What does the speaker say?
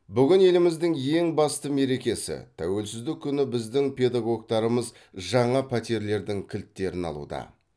бүгін еліміздің ең басты мерекесі тәуелсіздік күні біздің педагогтарымыз жаңа пәтерлердің кілттерін алуда